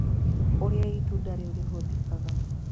Ũrĩa itunda rĩu rĩhũthĩkaga